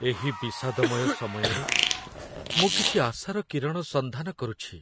ଏହି ବିଷାଦମୟ ସମୟରେ ମୁଁ କିଛି ଆଶାର କିରଣ ସନ୍ଧାନ କରୁଛି।